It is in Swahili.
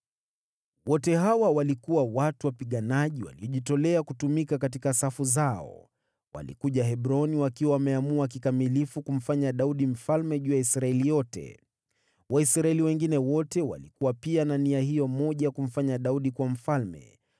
Wote hawa walikuwa watu wapiganaji waliojitolea kutumika katika safu zao. Walikuja Hebroni wakiwa wameamua kikamilifu kumfanya Daudi mfalme juu ya Israeli yote. Waisraeli wengine wote walikuwa pia na nia hiyo moja ya kumfanya Daudi kuwa mfalme.